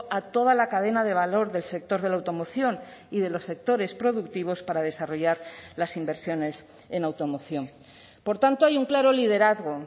a toda la cadena de valor del sector de la automoción y de los sectores productivos para desarrollar las inversiones en automoción por tanto hay un claro liderazgo